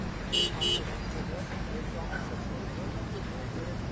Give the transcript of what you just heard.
Çox rahatdır, çox qəşəngdir, super bir yerdir.